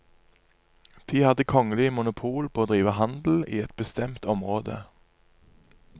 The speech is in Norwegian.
De hadde kongelig monopol på å drive handel i et bestemt område.